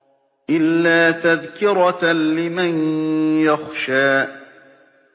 إِلَّا تَذْكِرَةً لِّمَن يَخْشَىٰ